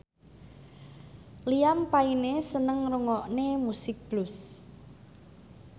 Liam Payne seneng ngrungokne musik blues